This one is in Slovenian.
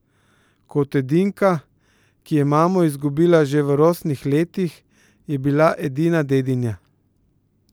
Kot edinka, ki je mamo izgubila že v rosnih letih, je bila edina dedinja.